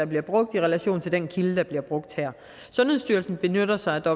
bliver brugt i relation til den kilde der bliver brugt her sundhedsstyrelsen benytter sig af